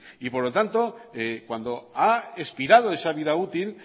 y por lo tanto cuando ha expirado esa vida útil